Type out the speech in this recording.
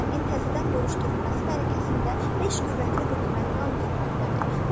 Şərqin təzədən bölüşdürülməsi mərakəsində beş qüvvətli hökumət qan tökməkdədir.